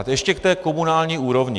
A ještě k té komunální úrovni.